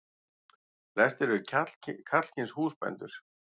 Flestir eru karlkyns húsbændur.